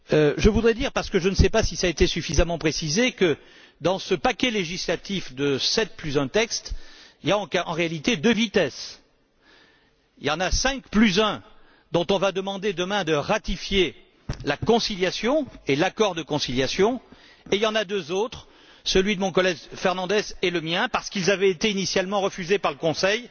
Je voudrais dire, parce que je ne sais pas si cela a été suffisamment précisé, que, dans ce paquet législatif de sept plus un texte, il y a en réalité deux vitesses. Il y en a cinq plus un dont on va demander demain de ratifier la conciliation et l'accord de conciliation, et il y en a deux autres, celui de mon collègue Fernandes et le mien, qui arrivent en seconde lecture, parce qu'ils avaient été initialement refusés par le Conseil.